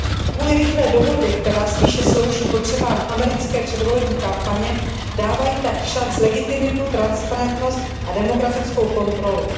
Kvůli rychlé dohodě, která spíše slouží potřebám americké předvolební kampaně, tak dávají všanc legitimitu, transparentnost a demokratickou kontrolu.